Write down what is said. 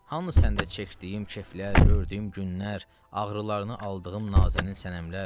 Hanı səndə çəkdiyim keyflər, gördüyüm günlər, ağrılarını aldığım Nazənin Sənəmlər?